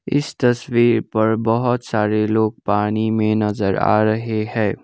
इस तस्वीर पर बहोत सारे लोग पानी में नजर आ रहे है।